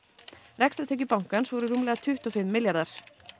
rekstrartekjur bankans voru rúmlega tuttugu og fimm milljarðar